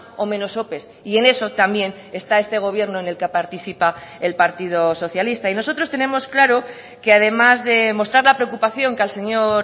o menos ope y en eso también está este gobierno en el que participa el partido socialista y nosotros tenemos claro que además de mostrar la preocupación que al señor